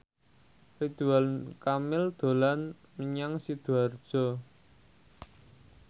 Ridwan Kamil dolan menyang Sidoarjo